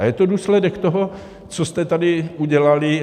A je to důsledek toho, co jste tady udělali.